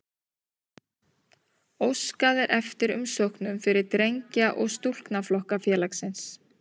Óskað er eftir umsóknum fyrir drengja- og stúlknaflokka félagsins.